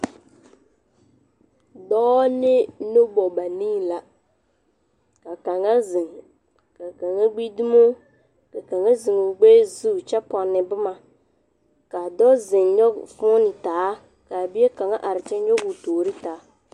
Dɔɔ ne nobɔ banii la, ka kaŋa zeŋ, ka kaŋa gbi dumoo, ka kaŋa zeŋ o gbɛɛ zu kyɛ ponne boma. Kaa dɔɔ zeŋ nyɔge foonee taa, kaa bie kaŋa are kyɛ nyɔge o toori taa.